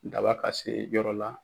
Daba ka se yɔrɔ la.